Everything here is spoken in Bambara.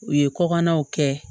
U ye kɔkannaw kɛ